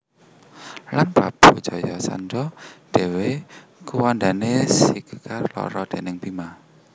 Lan Prabu Jarasandha dhéwé kuwandané disigar loro déning Bima